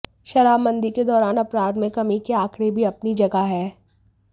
शराबबंदी के दौरान अपराध मे कमी के आंकड़े भी अपनी जगह हैं